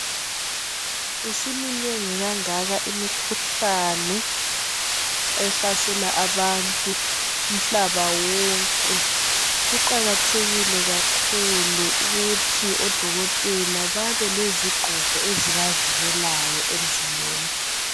Isiminengi kangaka imikhuhlane ehlasela abantu umhlaba wonke. Kuqakathekile kakhulu ukuthi odokotela babe lezigqoko ezibavikelayo emzimbeni.